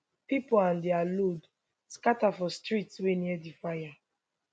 pipo and dia load scata for streets wey near di fire